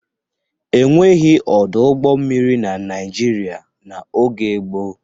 E nweghi ọdụ ụgbọ mmiri na Naịjirịa n'oge gboo.